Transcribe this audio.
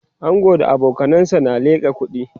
angon da abokanansa na liƙa kuɗi